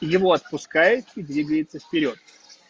его отпускает двигается вперёд